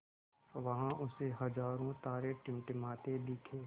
वहाँ उसे हज़ारों तारे टिमटिमाते दिखे